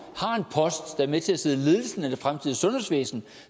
er med til at sidde i ledelsen af fremtidens sundhedsvæsen